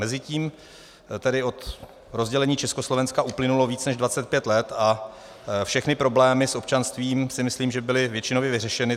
Mezitím tedy od rozdělení Československa uplynulo víc než 25 let a všechny problémy s občanstvím, si myslím, že byly většinově vyřešeny.